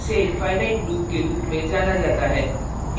इसे infinite loop के loop में जाना जाता है